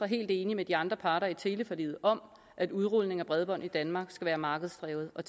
helt enig med de andre parter i teleforliget om at udrulningen af bredbåndet i danmark skal være markedsdrevet og